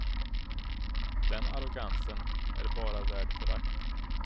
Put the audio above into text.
Den arrogansen är bara värd förakt.